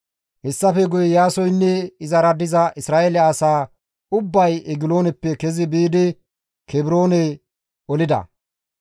Hessafe guye Iyaasoynne izara diza Isra7eele asa ubbay Egilooneppe kezi biidi Kebroone olida.